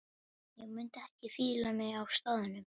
Ég mundi ekki fíla mig á staðnum.